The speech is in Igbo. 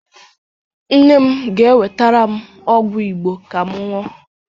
Nne m ga-ewetara m ọgwụ Igbo ka m ṅụọ